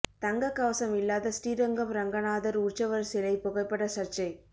தங்கக் கவசம் இல்லாத ஸ்ரீரங்கம் ரங்கநாதர் உற்சவர் சிலை புகைப்பட சர்ச்சை